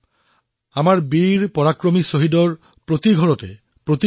এনে ভাৱনাই আমাৰ বীৰ পৰাক্ৰমী শ্বহীদসকলৰ ঘৰেঘৰে পৰিলক্ষিত হৈছে